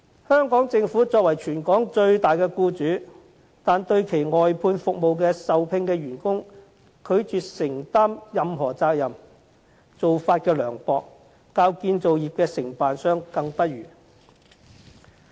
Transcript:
香港政府作為全港最大的僱主，但對其外判服務的受聘員工卻拒絕承擔任何責任，做法之涼薄較建造業的承辦商更不如。